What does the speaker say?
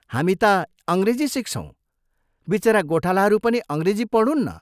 हामी ता अंग्रेजी सिक्छौं, विचरा गोठालाहरू पनि अंग्रेजी पढून् न।